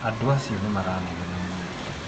Andũ acio nĩ maranegena mũno.